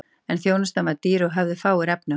en þjónustan var dýr og höfðu fáir efni á henni